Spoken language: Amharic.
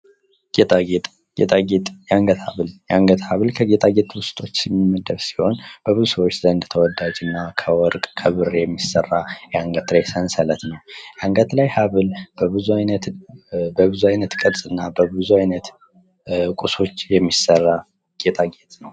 ጌጣጌጥ ጌጣጌጥ የአንገት ሀብል ጌጣጌጥ ውስጥ የሚመደብ ሲሆን በብዙ ሰዎች ዘንድ ተወዳጅ እና ከወርቅ ከብር የሚሰራ የአንገት ላይ ሰንሰለት ነው። የአንገት ላይ ሀብል በብዙ አይነት ቅርጽ እና በብዙ ዓይነት ቁሶች የሚሰራ ጌጣጌጥ ነው።